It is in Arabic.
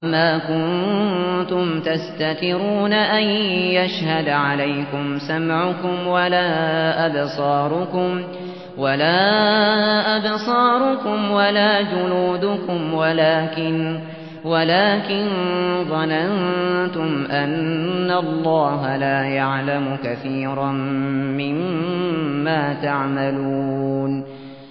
وَمَا كُنتُمْ تَسْتَتِرُونَ أَن يَشْهَدَ عَلَيْكُمْ سَمْعُكُمْ وَلَا أَبْصَارُكُمْ وَلَا جُلُودُكُمْ وَلَٰكِن ظَنَنتُمْ أَنَّ اللَّهَ لَا يَعْلَمُ كَثِيرًا مِّمَّا تَعْمَلُونَ